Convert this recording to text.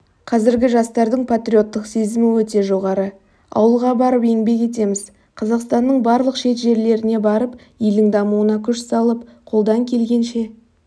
қазіргі жастардың патриоттық сезімі өте жоғары ауылға барып еңбек етеміз қазақстанның барлық шет жерлеріне барып елдің дамуына күш салып қолдан келгенше